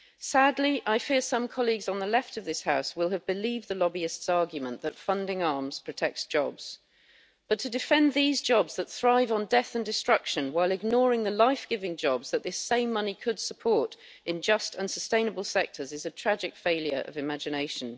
Sadly, I fear some colleagues on the left of this House will have believed the lobbyists' argument that funding arms protects jobs, but to defend these jobs that thrive on death and destruction, while ignoring the life giving jobs that this same money could support in just and sustainable sectors, is a tragic failure of imagination.